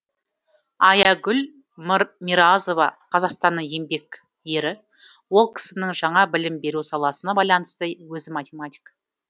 аягүл миразова қазақстанның еңбек ері ол кісінің жаңа білім беру саласына байланысты өзі математик